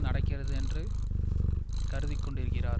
நடக்கிறது என்று கருதிக்கொண்டிருக்கிறார்